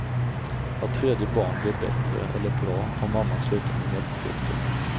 Vart tredje barn blev bättre eller bra om mamman slutade med mjölkprodukter.